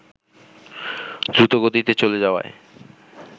দ্রুতগতিতে চলে যাওয়ায়